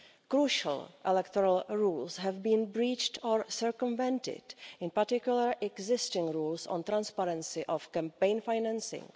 Crucial electoral rules have been breached or circumvented, in particular existing rules on the transparency of campaign financing.